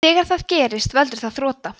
þegar það gerist veldur það þrota